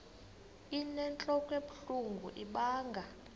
inentlok ebuhlungu ibanga